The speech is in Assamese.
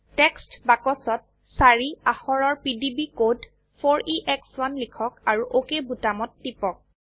টেক্সট বাক্সত চাৰি অাক্ষৰৰ পিডিবি কোড 4এশ1 লিখক আৰু অক বোতামত টিপক